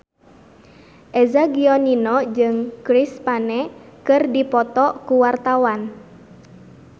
Eza Gionino jeung Chris Pane keur dipoto ku wartawan